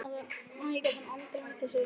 Æ, gat hann aldrei hætt þessu rugli?